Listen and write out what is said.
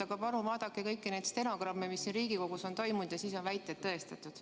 Aga palun vaadake kõiki neid stenogramme, mis siin Riigikogus toimunu kohta on olemas, ja siis on väited tõestatud.